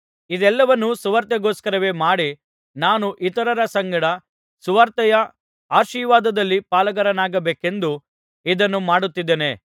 ಇದೆಲ್ಲವನ್ನು ಸುವಾರ್ತೆಗೋಸ್ಕರವೇ ಮಾಡಿ ನಾನು ಇತರರ ಸಂಗಡ ಸುವಾರ್ತೆಯ ಆಶೀರ್ವಾದದಲ್ಲಿ ಪಾಲುಗಾರನಾಗಬೇಕೆಂದು ಇದನ್ನು ಮಾಡುತ್ತಿದ್ದೇನೆ